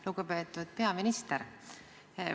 Lugupeetud peaminister!